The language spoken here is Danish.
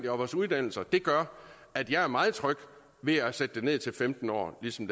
og vores uddannelser gør at jeg er meget tryg ved at sætte aldersgrænsen ned til femten år ligesom